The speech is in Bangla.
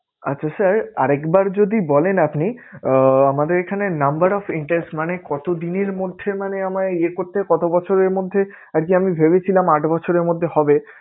আচ্ছা sir আর একবার যদি বলেন আপনি আহ আমাদের এখানে number of interest মানে কত দিনের মধ্যে মানে আমায় ইয়ে করতে কত বছরের মধ্যে আরকি আমি ভেবেছিলাম আট বছরের মধ্যে হবে।